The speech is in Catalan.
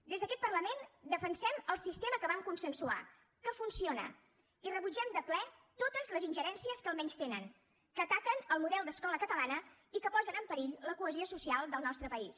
des d’aquest parlament defensem el sistema que vam consensuar que funciona i rebutgem de ple totes les ingerències que el menystenen que ataquen el model d’escola catalana i que posen en perill la cohesió social del nostre país